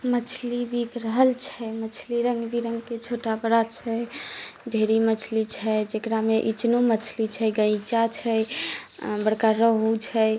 मछली बीक रहल छै मछली रंग बिरंग के छोटा बड़ा छै ढेरी मछली छै जकड़ा मे इचनो मछली छै गाइचा छै बड़का रेहू छै।